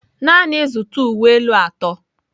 Naanị zụta uwe elu atọ.